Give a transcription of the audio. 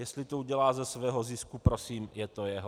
Jestli to udělá ze svého zisku, prosím, je to jeho.